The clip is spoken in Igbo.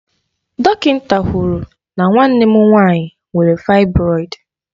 Dọkịnta kwụrụ na nwanne m nwaanyị nwere faịbroịd